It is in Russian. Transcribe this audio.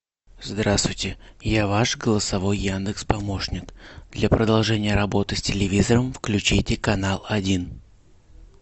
здравствуйте я ваш голосовой яндекс помощник для продолжения работы с телевизором включите канал один